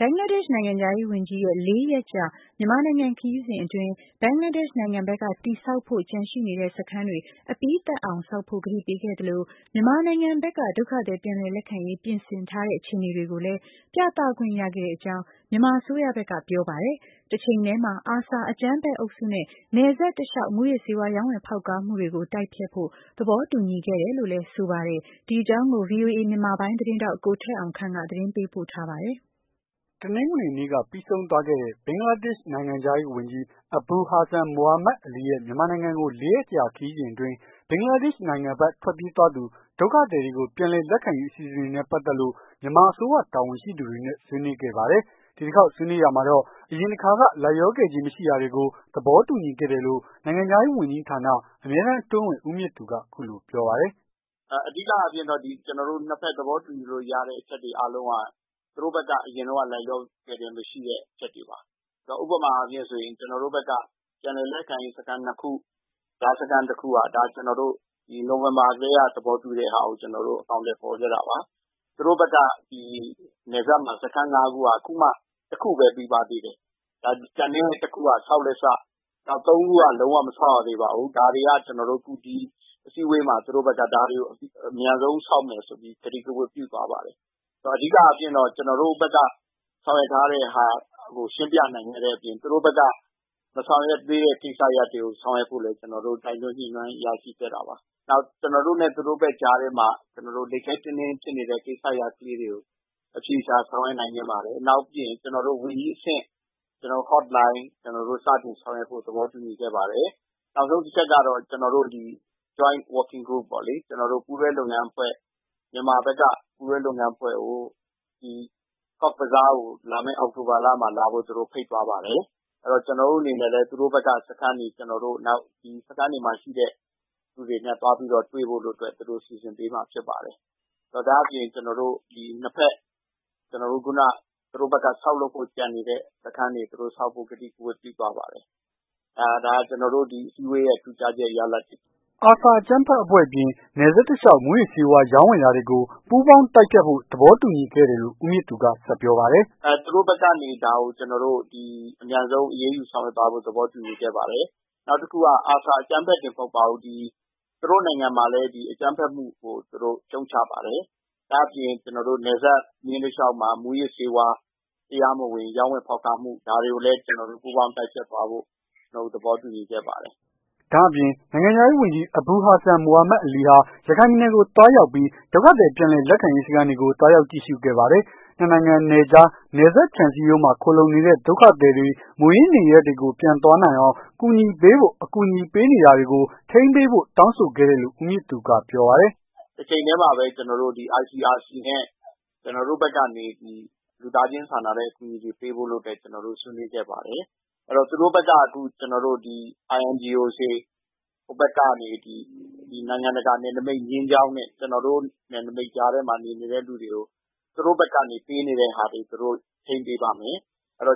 ဘင်္ဂလားဒေ့ရှ်နိုင်ငံခြားရေးဝန်ကြီးရဲ့ လေးရက်ကြာ မြန်မာနိုင်ငံခရီးစဉ်အတွင်း ဘင်္ဂလားဒေ့ရှ်နိုင်ငံဘက်က တည်ဆောက်ဖို့ ကျန်ရှိနေတဲ့ စခန်းတွေ အပြီးသတ်အောင် ဆောက်ဖို့ ကတိပေးခဲ့သလို မြန်မာနိုင်ငံဘက်က ဒုက္ခသည် ပြန်လည် လက်ခံရေး ပြင်ဆင်ထားတဲ့အခြေအနေတွေကို ပြသခွင့်ရခဲ့အတဲ့အကြောင်း မြန်မာအစိုးရဘက်ကပြောပါတယ်။ တချိန်တည်းမှာ ARSA အကြမ်းဖက် အုပ်စုနဲ့ နယ်စပ်တလျှောက် မူးယစ် ဆေးဝါး ရောင်းဝယ် ဖောက်ကားမှုတွေကို တိုက်ဖျက်ဖို့ သဘောတူညီခဲ့တယ်လို့ ဆိုပါတယ်။ ဒီအကြောင်း ဗွီအိုအေ မြန်မာပိုင်း သတင်းထောက် ကိုထက်အောင်ခန့်က သတင်းပေးပို့ထားပါတယ်။ တနင်္ဂနွေနေ့က ပြီးဆုံးသွားခဲ့တဲ့ ဘင်္ဂလားဒေ့ရှ်နိုင်ငံခြားရေးဝန်ကြီး Abul Hassan Mahmood Ali ရဲ့ မြန်မာနိုင်ငံကို ၄ ရက်ကြာ ခရီးစဉ်အတွင်း ဘင်္ဂလားဒေ့ရှ်နိုင်ငံဘက် ထွက်ပြေးသွားသူ ဒုက္ခသည်တွေ တွေကို ပြန်လည်လက်ခံရေး အစီအစဉ်တွေနဲ့ ပတ်သက်လို့ မြန်မာ အစိုးရတာဝန်ရှိသူတွေနဲ့ ဆွေးနွေးခဲ့ပါတယ်။ ဒီတခေါက်ဆွေးနွေးရာမှာတော့ အရင်တခါက လိုက်လျောခဲ့ခြင်းမရှိတာတွေကို သဘောတူညီခဲ့တယ်လို့ နိုင်ငံခြားရေး ဝန်ကြီးဌာန အမြဲတမ်း အတွင်းဝန် ဦးမြင့်သူ က အခုလိုပြောပါတယ်။ "အဓိကအားဖြင့်တော့ ကျွန်တော်တို့ ၂ ဖက် သဘောတူညီလို့ရတဲ့ အရာတွေအားလုံးက သူတို့ဘက်က အရင်တုန်းက လိုက်လျောခဲ့ခြင်းမရှိတဲ့အချက်တွေပါ ဥပမာအားဖြင့်ဆိုရင် ကျွန်တော်တို့ဘက်က ပြန်လည် လက်ခံရေး စခန်း ၂ ခု ကြားစခန်းတခုက ကျွန်တော်တို့ နိုဝင်ဘာထဲက သဘောတူတဲ့ဟာကို အကောင်အထည် ဖော်ခဲ့တာပါ။ သူတို့ဘက်က နယ်စပ်မှာ စခန်း ၅ ခုမှာ ၁ခုပဲပြီးပါသေးတယ်။ ကျန်တဲ့ ၁ ခုက ဆောက်လက်ဆ ၃ ခုက လုံးဝမဆောက်ရသေးဘူး။ ဒါတွေက အခုအစည်းအဝေးမှာ ဒါတွေကို အမြန်ဆုံး ဆောက်မယ်ဆိုပြီး ကတိကဝတ်ပြုသွားပါတယ်။ အဓိကအားဖြင့်တော့ ကျွန်တော်တို့ဘက်က ဆောင်ရွက် ထားတဲ့ဟာကို ရှင်းပြနိုင်ခဲ့တဲ့အပြင် သူတို့ဘက်က မဆောင်ရွက်နိုင်သေးတဲ့ ကိစ္စရပ်တွေကို ဆောင်ရွက်ဖို့ လည်း ကျွန်တော်တို့ တိုက်တွန်းညှိနှိုင်း ရရှိခဲ့ပါတယ်။ ကျွန်တော်တို့နဲ့ သူတို့ဘက်ကြားထဲမှာ လိပ်ခဲတည်းတည်း ဖြစ်နေတဲ့ ကိစ္စရပ်လေးတွေကို အဖြေရှာဆောင်ရွက်နိုင်ခဲ့ပါတယ်။ နောက် ဝန်ကြီးအဆင့် Hot Line စတင် ဆောင်ရွက်ဖို့ သဘောတူညီခဲ့ပါတယ်။ နောက်ဆုံးတချက်ကတော့ ကျွန်တော်တို့ Joint Working Group ပေါ့လေ ကျွန်တော်တို့ ပူးတွဲလုပ်ငန်းအဖွဲ့ မြန်မာဘက်က ပူးတွဲလုပ်ငန်းအဖွဲ့ကို ကော့ဘဇားကို လာမယ့် အောက်တိုဘလမှာ လာဖို့ သူတို့ဖိတ်သွားပါတယ်။ ကျွန်တော်တို့အနေနဲ့လည်း သူတို့ဘက်က စခန်းတွေ နောက်စခန်းတွေမှာရှိတဲ့သူတွေနဲ့ သွားပြီးတွေ့ဖို့ စီစဉ်ပေးမှာ ဖြစ်ပါတယ်။ ဒါ့အပြင်သူတို့ ၂ ဖက် သူတို့ဘက်က ဆောက်လုပ်ဖို့ ကျန်နေတဲ့ စခန်းတွေ ဆောက်ဖို့ ကတိကဝတ် ပြုသွားပါတယ်။ ဒါကျွန်တော်တို့ ဒီအစည်းအဝေး ရဲ့ ထူးခြားတဲ့ ရလဒ်တွေပါ။ " ARSA အကြမ်းဖက်အဖွဲ့အပြင် နယ်စပ်တလျှောက် မူးယစ်ဆေးဝါး ရောင်းဝယ်တာတွေကို ပူးပေါင်း တိုက်ဖျက်ဖို့ သဘောတူညီခဲ့တယ်လို့ ဦးမြင်သူက ဆက်ပြောပါတယ်။ "သူတို့ဘက်ကနေ ဒါကိုအမြန်ဆုံး အရေးယူဆောင်ရွက်သွားဖို့ သဘောတူညီခဲ့ပါတယ်။ နောက်တခုက ARSA အကြမ်းဖက်တင်မဟုတ်ပါဘူး။ သူတို့နိုင်ငံမှာလည်း အကြမ်းဖက်မှုကို ရှုံချပါတယ်။ ဒါ့အပြင် နယ်စပ်မျဉ်း တလျောက်မှာ မူးယစ်ဆေးဝါး တရားမဝင် ရောင်းဝယ်ဖောက်ကားမှု ဒါတွေကိုလည်း ကျွန်တော်တို့ ပူးပေါင်း တိုက်ဖျက်သွားဖို့ သဘောတူညီခဲ့ပါတယ်။" ဒါ့အပြင် နိုင်ငံခြားရေးဝန်ကြီး Abul Hassan Mahmood Ali ဟာ ရခိုင်ပြည်နယ်ကိုသွားရောက်ပြီး ဒုက္ခသည် ပြန်လည် လက်ခံရေး စခန်းတွေကို သွားရောက်ကြည့်ရှုခဲ့ပါတယ်။ နှစ်နိုင်ငံနယ်ခြား၊ နယ်စပ်ခြံစည်းရိုးမှာ ခိုလှုံနေတဲ့ ဒုက္ခသည်တွေ မူရင်းနေရပ်တွေကို ပြန်သွားအောင် ကူညီပေးဖို့၊ အကူအညီပေးနေတာတွေကို ထိန်းပေးဖို့ တောင်းဆိုခဲ့တယ်လို့လည်း့ ဦးမြင့်သူက ပြောပါတယ်။ "တချိန်တည်းမှာပဲ ICRC နဲ့ လူသားခြင်းဆိုင်ရာ အကူအညီတွေကို ပေးဖို့လုပ်တာကို ဆွေးနွေးခဲ့ပါတယ်။ သူတို့ ဘက်ကဒီ INGO တွေ ဟိုဘက်ကနေ ဒီနိုင်ငံတကာ နယ်နိမိတ်မျဉ်းကြောင်းနဲ့ ကျွန်တော်တို့ နယ်နမိတ်ကြားထဲ မှာ နေနေတဲ့လူတွေကို သူတို့ဘက်ကနေ ပေးနေတဲ့ဟာတွေကို သူတို့ထိန်းပေးပါ့မယ်။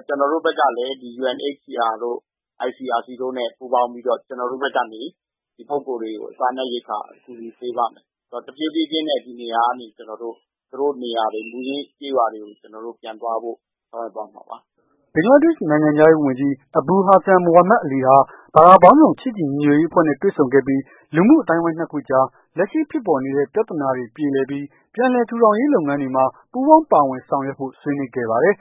ကျွန်တော်တို့ဘက်က လည်း UNHCR တို့ ICRC တို့ ပူးပေါင်းပြီးတော့ ကျွန်တော်တို့ဘက်ကနေ ဒီပုဂ္ဂိုလ်တွေကို စားနပ်ရိက္ခာ ကူညီ ပေးပါ့မယ်။ တဖြေးဖြေးနဲ့ ဒီနေရာကနေ သူတို့နေရာတွေ မူရင်းကျေးရွာတွေ ပြန်သွားဖို့ ဆောင်ရွက်သွား မှာပါ။" ဘင်္ဂလားဒေ့ရှ်နိုင်ငံခြားရေးဝန်ကြီး Abul Hassan Mahmood Ali ဟာ ဘာသာပေါင်းစုံ ချစ်ကြည်ညီညွတ်ရေး အဖွဲ့နဲ့တွေ့ဆုံခဲ့ပြီး လူမှု အသိုင်းအဝိုင်း ၂ ခုအကြား လက်ရှိဖြစ်ပေါ်နေတဲ့ ပြသာနာတွေပြေလည်ပြီး ပြန်လည် ထူးထောင်ရေး လုပ်ငန်းတွေမှာ ပူးပေါင်းပါဝင် ဆောင်ရွက်ဖို့ ဆွေးနွေးခဲ့ပါတယ်။